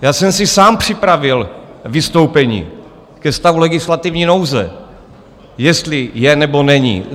Já jsem si sám připravil vystoupení ke stavu legislativní nouze, jestli je, nebo není.